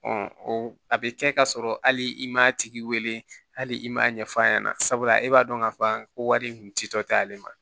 a bɛ kɛ k'a sɔrɔ hali i m'a tigi wele hali i m'a ɲɛf'a ɲɛna sabula e b'a dɔn k'a fɔ ko wari in kun ti tɔtɔ ta ale ma